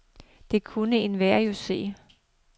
Det kunne enhver jo se.